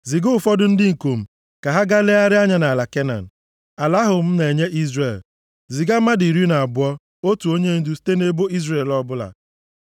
“Ziga ụfọdụ ndị ikom ka ha gaa legharịa anya nʼala Kenan, ala ahụ m na-enye Izrel. Ziga mmadụ iri na abụọ, otu onyendu site nʼebo Izrel ọbụla.”